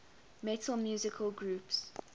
metal musical groups